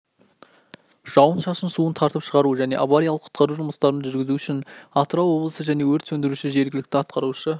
жауын-шашын суын тартып шығару және авариялық-құтқару жұмыстарын жүргізу үшін атырау облысы және өрт сөндіруші жергілікті атқарушы